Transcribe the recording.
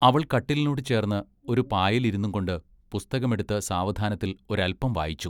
അവൾ കട്ടിലിനോട് ചേർന്ന് ഒരു പായെലിരുന്നുംകൊണ്ട് പുസ്തകമെടുത്ത് സാവധാനത്തിൽ ഒരല്പം വായിച്ചു.